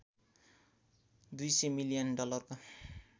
२०० million डलरको